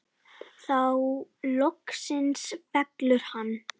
Þá loksins fellur hann.